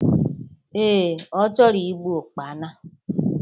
Ee, ọ chọrọ igbu Ụkpana